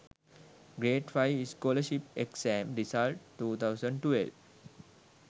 grade 5 scholarship exam results 2012